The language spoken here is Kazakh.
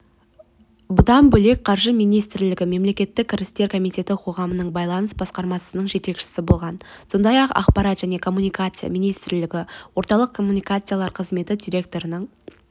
бұдан бөлек қаржы министрлігі мемлекеттік кірістер комитеті қоғаммен байланыс басқармасының жетекшісі болған сондай-ақ ақпарат және коммуникация министрлігі орталық коммуникациялар қызметі директорының